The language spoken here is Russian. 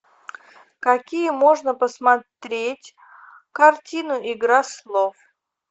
какие можно посмотреть картину игра слов